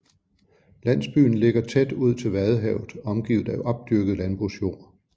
Landsbyen ligger tæt ud til Vadehavet omgivet af opdyrket landbrugsjord